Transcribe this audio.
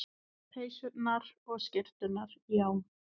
Peysurnar og skyrturnar, já.